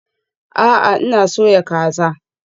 A'a, ina soya kaza